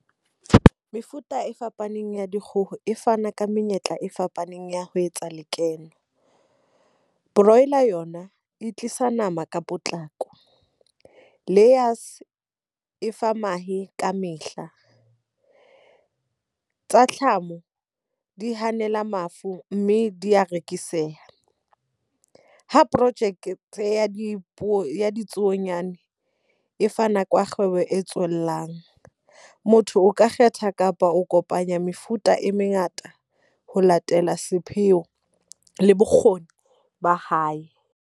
Mefuta e fapaneng ya dikgoho e fana ka menyetla e fapaneng ya ho etsa lekeno. Brawler yona e tlisa nama ka potlako, layers e fa mahe ka mehla. Tsa di hanela mafu mme di a rekiseha. Ha project ya ditsuonyana e fa nako ya kgwebo e tswellang, motho o ka kgetha kapa o kopanya mefuta e mengata ho latela sepheo le bokgoni ba hae.